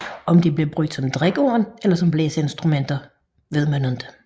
Om de blev brugt som drikkehorn eller som blæseinstrumenter vides ikke